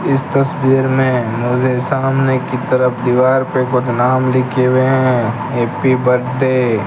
इस तस्वीर में मुझे सामने की तरफ दीवार पे कुछ नाम लिखे हुए हैं हैप्पी बर्थडे --